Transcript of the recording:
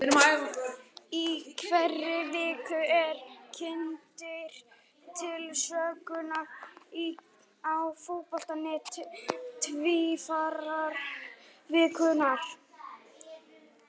Í hverri viku eru kynntir til sögunnar hér á Fótbolti.net Tvífarar vikunnar.